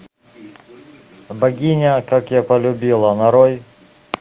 богиня как я полюбила нарой